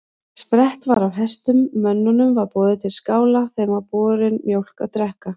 Sprett var af hestum, mönnunum var boðið til skála, þeim var borin mjólk að drekka.